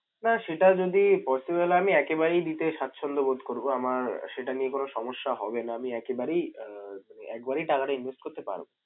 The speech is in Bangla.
না সেটা যদি possible হয় আমি একেবারেই দিতে স্বাচ্ছন্দ্যবোধ করবো। আমার সেটা নিয়ে কোন সমস্যা হবে না। আমি একেবারেই আহ একবারেই টাকাটা invest করতে পারবো।